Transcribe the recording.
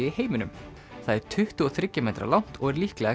í heiminum það er tuttugu og þriggja metra langt og er líklega